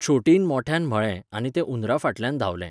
छोटीन मोठ्यान म्हळें आनी ते उंदरा फाटल्यान धांवले.